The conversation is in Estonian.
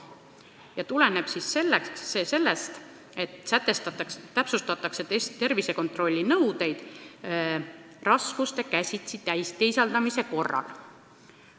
See tuleneb sellest, et täpsustatakse tervisekontrolli nõudeid raskuste käsitsi teisaldamise korral.